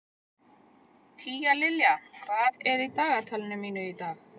Tíalilja, hvað er í dagatalinu mínu í dag?